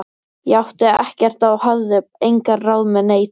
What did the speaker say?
Ég átti ekkert og hafði engin ráð með neitt.